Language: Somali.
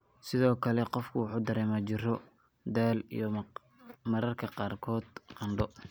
Sidoo kale qofku wuxuu dareemaa jirro, daal, iyo mararka qaarkood qandho.